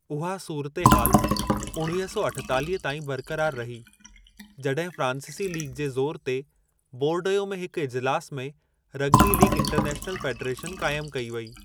उहा सूरतहाल उणिवीह सौ अठेतालीह ताईं बरक़रार रही जॾहिं फ़्रांसीसी लीग जे ज़ोरु ते बोरडयो में हिक इजलासु में रगबी लीग इंटरनैशनल फ़ेडरेशन क़ाइमु कई वई।